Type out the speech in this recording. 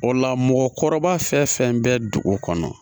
O la mɔgɔkɔrɔba fɛn fɛn bɛ dugu kɔnɔ